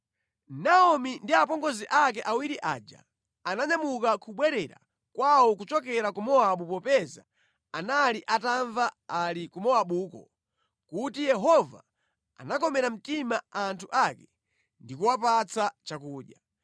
Naomi ndi apongozi ake awiri aja ananyamuka kubwerera kwawo kuchokera ku Mowabu popeza anali atamva ali ku Mowabuko kuti Yehova anakomera mtima anthu ake ndi kuwapatsa chakudya.